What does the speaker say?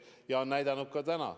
Ja seda on näidatud ka nüüd.